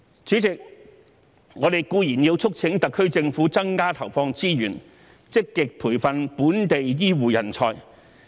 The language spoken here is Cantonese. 主席，我們固然要促請特區政府增加投放資源，積極培訓本地醫護人才。